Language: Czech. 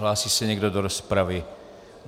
Hlásí se někdo do rozpravy?